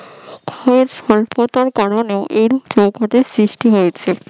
বা স্বল্পতার কারণে এরূপ হিমবাহের সৃষ্টি হয়েছে